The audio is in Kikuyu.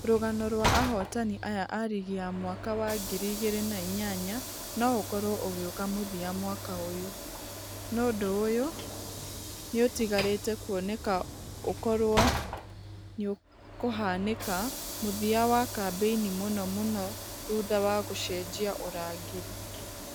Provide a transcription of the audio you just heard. Rũgano rwa ahotani aya a rigi ya mwaka wa ngiri igĩrĩ na inyanya nũ ũkorwo ũgioka mũthia mwaka ũyũ . Nũ ũndũ ũyũ nĩũtigarĩte kuoneka ũkorwo nĩũkohanĩka mũthia wa kambeini mũno mũno thutha wa gũcenjia ũrangĩri.